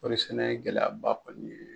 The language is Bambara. Kɔɔrisɛnɛ ye gɛlɛyaba kɔni ye.